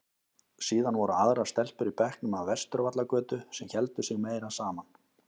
Síðan voru aðrar stelpur í bekknum af Vesturvallagötu sem héldu sig meira saman.